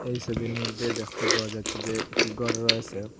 এই ছবির মইধ্যে দেখতে পাওয়া যাচ্ছে যে একটি ঘর রয়েসে।